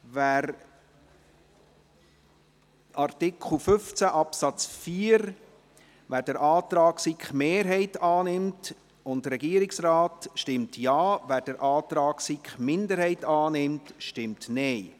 Wer den Antrag der SiK-Mehrheit und des Regierungsrates zum Artikel 15 Absatz 4 annimmt, stimmt Ja, wer den Antrag der SiK-Minderheit annimmt, stimmt Nein.